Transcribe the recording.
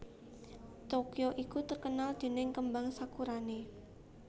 Tokyo iku terkenal dening kembang sakurane